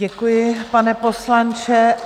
Děkuju, pane poslanče.